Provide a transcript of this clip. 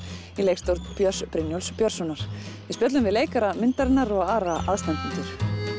í leikstjórn Björns Brynjúlfs Björnssonar við spjölluðum við leikara myndarinnar og aðra aðstandendur